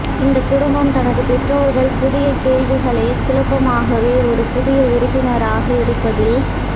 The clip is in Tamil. இந்தக் குடும்பம் தனது பெற்றோர்கள் புதிய கேள்விகளை குழுப்பமாகவே ஒரு புதிய உறுப்பினராக இருப்பதில்ல்